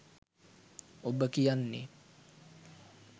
ඔබ කියන්නේ